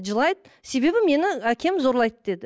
жылайды себебі мені әкем зорлайды деді